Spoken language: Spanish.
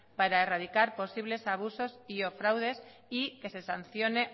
para erradicar posibles abusos y o fraudes y que se sancione